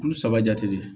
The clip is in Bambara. Olu saba jate